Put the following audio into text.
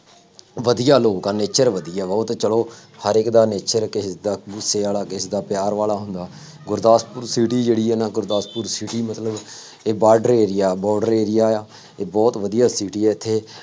ਵਧੀਆ ਲੋਕ ਆ, nature ਵਧੀਆ ਵਾ, ਉਹ ਤਾਂ ਚੱਲੋ ਹਰੇਕ ਦਾ nature ਕਿਸੇ ਦਾ ਗੁੱਸੇ ਵਾਲਾ, ਕਿਸੇ ਦਾ ਪਿਆਰ ਵਾਲਾ ਹੁੰਦਾ, ਗੁਰਦਾਸਪੁਰ city ਜਿਹੜੀ ਹੈ ਨਾ, ਗੁਰਦਾਸਪੁਰ city ਮਤਲਬ, ਇਹ border area border area ਆ, ਇਹ ਬਹੁਤ ਵਧੀਆ city ਆ ਇੱਥੇ,